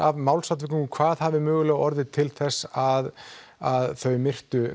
að málsatviku hvað hafi mögulega orðið til þess að að þau myrtu